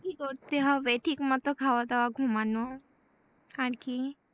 কি করে হবে ঠিক মত খাওয়া দাওয়া ঘুমানো আর কি?